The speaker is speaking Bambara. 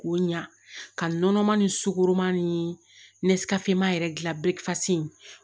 K'o ɲa ka nɔnɔma ni sukoroma ni nesikaseman yɛrɛ gilan bɛ fasi